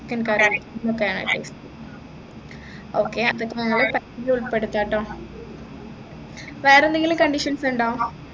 chicken curry ഒക്കെയാണ് okay അപ്പൊ ഇത് ഞങ്ങള് ഭക്ഷണത്തിൽ ഉൾപെടുത്ത ട്ടോ. വേറെ എന്തെങ്കിലും conditions ഉണ്ടോ